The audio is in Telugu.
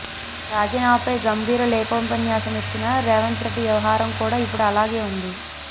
రాజీనామాపై గంభీర లేఖోపన్యాసమిచ్చిన రేవంత్రెడ్డి వ్యవహారం కూడా ఇప్పుడు అలాగే ఉంది